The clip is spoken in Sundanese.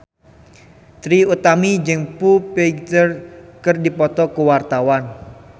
Trie Utami jeung Foo Fighter keur dipoto ku wartawan